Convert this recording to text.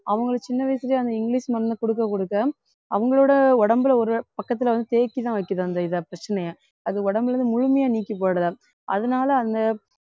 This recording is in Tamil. அவங்களை சின்ன வயசுலயே அந்த இங்கிலிஷ் மருந்து குடுக்க குடுக்க அவங்களோட உடம்புல ஒரு பக்கத்துல வந்து தேய்ச்சுதான் வைக்குது அந்த இதை பிரச்சனைய அது உடம்புல இருந்து முழுமையா நீக்கிப் போடல அதனால அந்த